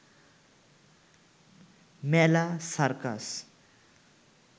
মেলা, সার্কাস